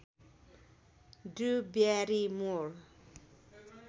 Drew Barrymore